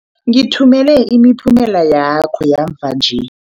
Ngithumela imiphumela yakho yamva nje.